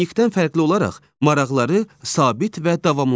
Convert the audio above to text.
Sanqvinikdən fərqli olaraq maraqları sabit və davamlıdır.